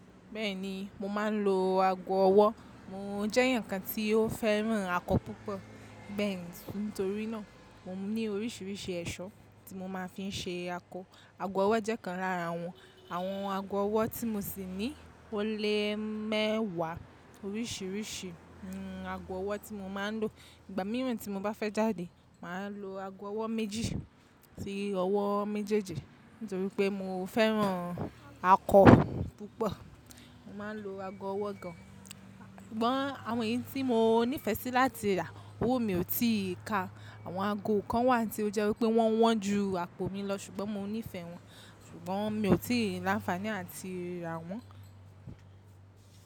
Bẹ́ẹ̀ni, mo máa ń lo ago ọwọ́. Mò ń jẹ́ èyàn kan tí ó fẹ́ràn akọ púpọ̀, bẹ́ẹ̀ ni nítorí náà mo ní oríṣiríṣi ẹ̀ṣọ́ tí mo máa fi ń ṣe akọ. Ago ọwọ́ jẹ́ kan lára wọn. Àwọn ago ọwọ́ tí mo sì ní ó lè mẹ́wàá oríṣiríṣi ago ọwọ́ tí mo máa ń lò. Ìgbà mìíràn tí mo bá fẹ́ jáde, màá lo ago ọwọ́ méjì sí ọwọ́ méjèèjì nítorí pé mo fẹ́ràn akọ púpọ̀. Mo máa ń lo ago ọwọ́ gan. Ṣùgbọ́n àwọn èyí tí mo nífẹ̀ẹ́ sí láti rà, òwò mi ò tí ì ká. Àwọn ago kan wà tí ó jẹ́ wípé wọ́n wọ́n ju àpò mi lọ. Ṣùgbọ́n mo nífẹ̀ẹ́ wọn, ṣùgbọ́n mi ò tí ì láǹfààní áti rà wọ́n.